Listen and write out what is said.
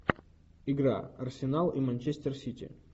игра арсенал и манчестер сити